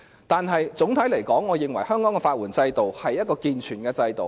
但是，總體而言，我認為香港的法援制度是建全的制度。